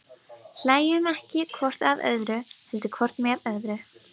Hlæjum ekki hvort að öðru, heldur hvort með öðru.